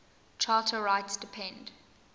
charter rights depend